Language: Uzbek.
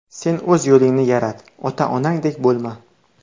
Sen o‘z yo‘lingni yarat, ota-onangdek bo‘lma.